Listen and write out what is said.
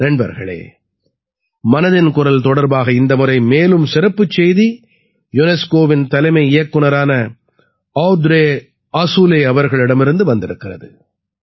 நண்பர்களே மனதின் குரல் தொடர்பாக இந்த முறை மேலும் சிறப்புச் செய்தி யுனெஸ்கோவின் தலைமை இயக்குநரான ஔத்ரே ஆஸூலே அவர்களிடமிருந்து வந்திருக்கிறது